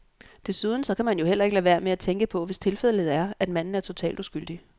Desuden så kan man jo heller ikke lade være med at tænke på, hvis tilfældet er, at manden er totalt uskyldig.